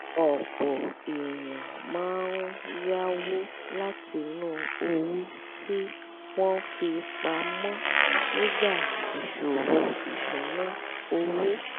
ọ̀pọ̀ èèyàn máa ń yáwó látinú owó tí wọ́n fi pa mọ́ nígbà ìṣòro ìṣúnná owó